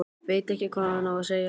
Veit ekki hvað hann á að segja.